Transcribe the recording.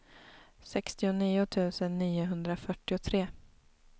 sextionio tusen niohundrafyrtiotre